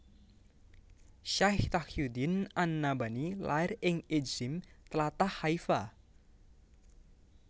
Syaikh Taqiyuddin an Nabhani lair ing Ijzim tlatah Haifa